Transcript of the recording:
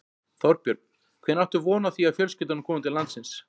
Þorbjörn: Hvenær áttu von á því að fjölskyldurnar komi til landsins?